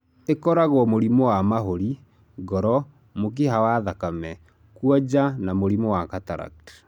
Ĩkoragwo mũrimũ wa mahũri, ngoro, mũkiha wa thakame, kuonja na mũrĩmũ wa cataract.